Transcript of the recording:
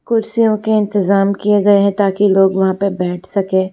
कुर्सियों के इंतजाम किए गए हैं ताकि लोग वहां पे बैठ सके --